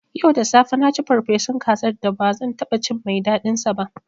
Yau da safe na ci farfesun kazar da ba zan taɓa cin mai daɗinsa ba.